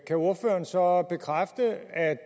kan ordføreren så bekræfte at